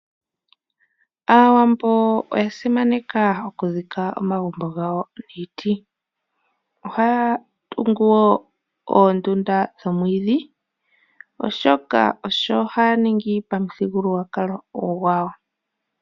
Aawambo oya simaneka oku dhika omagumbo gawo niiti. Ohaya tungu woo oondunda momwiidhi oshoka osho haya ningi pamuthigululwakalo gwawo.